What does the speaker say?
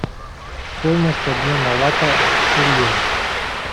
стоимость обмена лата в шиллинг